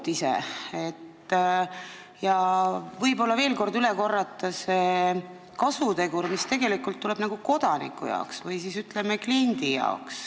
Võib-olla võiks veel kord üle korrata selle kasuteguri, mis tekib kodaniku või, ütleme, kliendi jaoks.